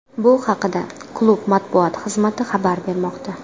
Bu haqida klub matbuot xizmati xabar bermoqda .